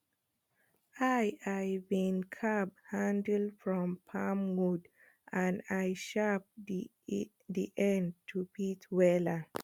i i been carve handle from palm wood and i shape d end to fit wela